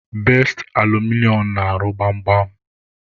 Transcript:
Best Alụmịnịo na-arụ gbam gbam.